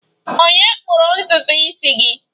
Ònye kpụrụ ntutu isi gị?